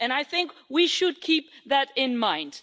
I think we should keep that in mind.